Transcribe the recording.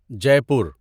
جے پور